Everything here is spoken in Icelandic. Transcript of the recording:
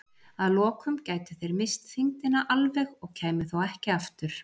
Að lokum gætu þeir misst þyngdina alveg og kæmu þá ekki aftur.